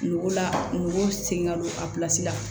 Nogo la n b'o sen ga don a pilasi la